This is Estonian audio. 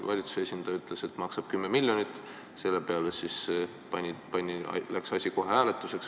Valitsuse esindaja ütles, et see maksab 10 miljonit, ja selle peale läks kohe hääletuseks?